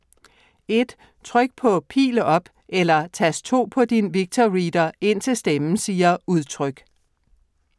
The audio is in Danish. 1. Tryk på Pil op eller Tast 2 på din VictorReader indtil stemmen siger Udtryk.